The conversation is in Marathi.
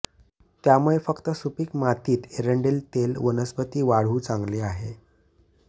त्यामुळे फक्त सुपीक मातीत एरंडेल तेल वनस्पती वाढू चांगले आहे